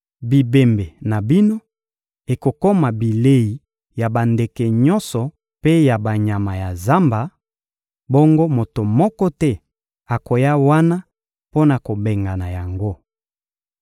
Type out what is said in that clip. Bibembe na bino ekokoma bilei ya bandeke nyonso mpe ya banyama ya zamba, bongo moto moko te akoya wana mpo na kobengana yango.